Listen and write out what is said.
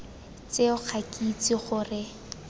tseo ga ke itse gore